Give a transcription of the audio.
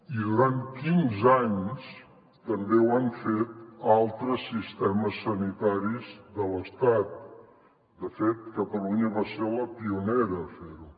i durant quinze anys també ho han fet altres sistemes sanitaris de l’estat de fet catalunya va ser la pionera a fer ho